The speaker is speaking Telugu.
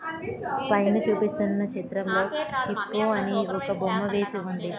పైన చూపిస్తున్న చిత్రంలో హిప్పో అని ఒక బొమ్మ వేసి ఉంది.